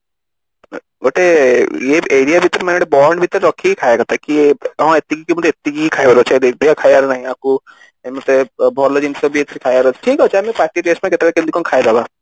ଗୋଟେ area ଭିତରେ bond ଭିତରେ ରଖିକି ଖାଇବା କଥା କି ହଁ ଏତିକି ମାନେ ଏତିକି ମତେ ଖାଇବାର ଅଛି ବେଶୀ ଆଉ ଖାଇବାର ନାହିଁ ୟାକୁ ଏମିତି ରେ ଭଲ ଜିନିଷ ବି ଖାଇବାର ଅଛି ଠିକ ଅଛି ଆମେ ପାଟି taste ପାଇଁ କେତେବେଳେ କେମିତି ଖାଇଦବା